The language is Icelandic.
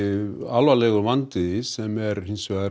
alvarlegur vandi sem er